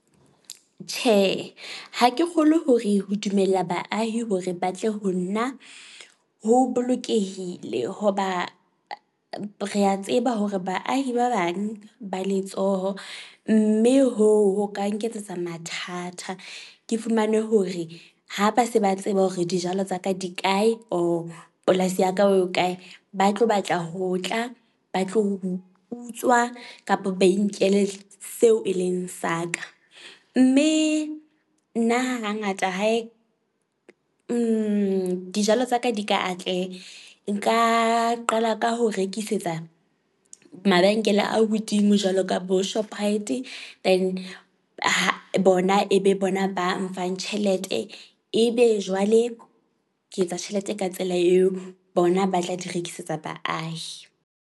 Tjhe, ha ke kgolwe hore ho dumella baahi hore ba tle ho nna ho bolokehile hoba re a tseba hore baahi ba bang ba letsoho mme hoo ho ka nketsetsa mathata. Ke fumane hore ha ba se ba tseba hore dijalo tsa ka di kae or polasi ya ka ho kae. Ba tlo batla ho tla ba tlo utswa kapa ba inkele seo e leng sa ka. Mme nna hangata hae di dijalo tsa ka di ka atleha. Nka qala ka ho rekisetsa mabenkele a hodimo jwalo ka boShoprite, e di ho bona e be bona ba mfang tjhelete. Ebe jwale ke etsa tjhelete ka tsela eo, bona ba tla di rekisetsa baahi.